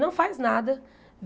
Não faz nada.